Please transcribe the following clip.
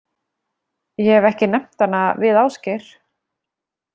Ég hef ekki nefnt hana við Ásgeir.